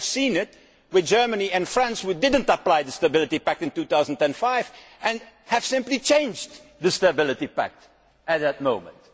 We have seen this with Germany and France, who did not apply the Stability Pact in 2005 and simply changed the Stability Pact at that moment.